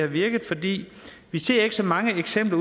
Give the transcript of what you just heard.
virket fordi vi ser ikke så mange eksempler